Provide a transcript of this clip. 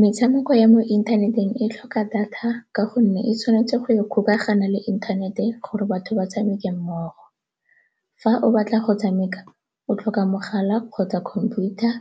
Metshameko ya mo inthaneteng e tlhoka data ka gonne e tshwanetse go ikgokaganya le inthanete gore batho ba tshameke mmogo. Fa o batla go tshameka, o tlhoka mogala kgotsa computer,